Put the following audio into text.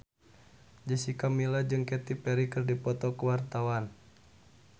Jessica Milla jeung Katy Perry keur dipoto ku wartawan